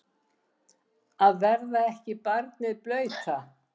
Að verða ekki barnið blauta